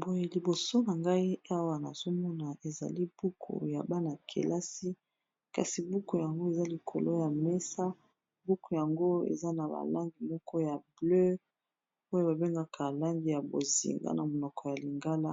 boye liboso na ngai awa na zomona ezali buku ya bana-kelasi kasi buku yango eza likolo ya mesa buku yango eza na balangi moko ya bleu oyo babengaka alangi ya bozinga na monoko ya lingala